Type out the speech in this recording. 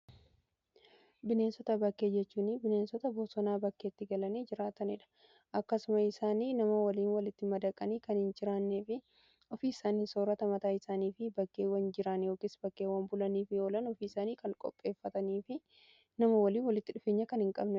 bineensota bakkee jechuun bineensota bosonaa bakkeetti galanii jiraatanii dha. akkasumas isaan nama waliin walitti madaqanii kan hin jiraannee fi ofii isaanii soorata mataa isaanii fi bakkeewwan jiraan yookiin bakkeewwan bulanii fi oolan ofii isaanii kan qopheeffatanii fi nama waliin walitti dhufeenya kan hin qabnedha.